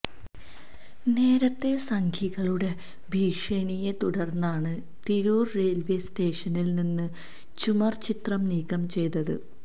നേരത്തെ സംഘികളുടെ ഭീഷണിയെ തുടര്ന്നാണ് തിരൂര് റെയില്വേ സ്റ്റേഷനില് നിന്ന് ചുമര് ചിത്രം നീക്കം ചെയ്തത്